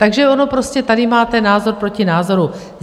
Takže ono prostě tady máte názor proti názoru.